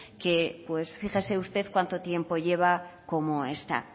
que pues fíjese usted cuando tiempo lleva como está